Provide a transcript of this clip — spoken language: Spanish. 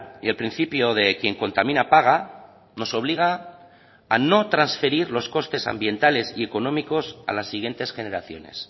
y el principio de quien contamina paga nos obliga a no transferir los costes ambientales y económicos a las siguientes generaciones